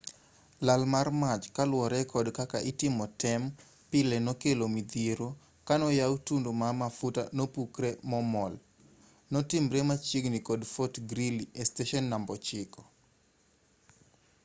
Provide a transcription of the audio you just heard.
lal mar mach kaluwore kod kaka itimo tem pile nokelo midhiero kano yaw tundu ma mafuta nopukre momol notimre machiegini kod fort greely esteshen namba 9